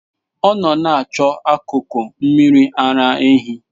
Ọ nọ na-achọ akụkụ mmiri ara ehi.